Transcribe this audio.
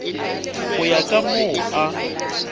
go ya ka moo a